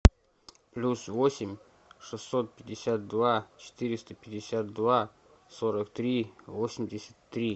плюс восемь шестьсот пятьдесят два четыреста пятьдесят два сорок три восемьдесят три